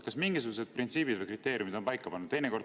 Kas mingisugused printsiibid ja kriteeriumid on paika pandud?